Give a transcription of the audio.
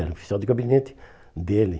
Era oficial de gabinete dele.